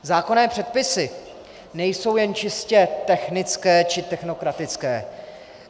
Zákonné předpisy nejsou jen čistě technické či technokratické.